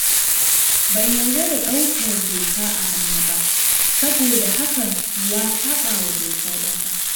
Ban yarda da ɗaukar doka a hannu ba saboda hakan ya saɓa wa dokar ƙasa.